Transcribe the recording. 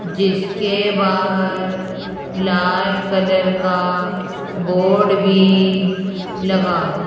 जिसके बाहर लाल कलर का बोर्ड भी लगा हुआ।